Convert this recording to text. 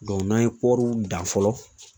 n'an ye kɔɔriw dan fɔlɔ